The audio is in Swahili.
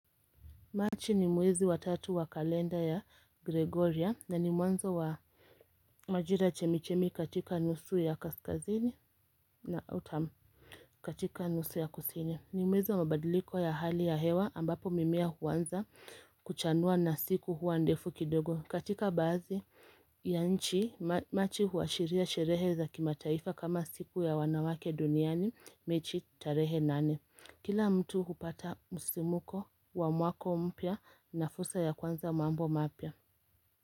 Machi ni mwezi wa tatu wa kalenda ya Gregoria na ni mwanzo wa majira chemichemi katika nusu ya kaskazini na autumn katika nusu ya kusini. Ni mwezi wa mabadiliko ya hali ya hewa ambapo mimea huanza kuchanua na siku huwa ndefu kidogo. Katika baadhi ya nchi, Machi huashiria sherehe za kimataifa kama siku ya wanawake duniani Machi tarehe nane. Kila mtu hupata msisimko wa mwaka mpya na fursa ya kuanza mambo mapya.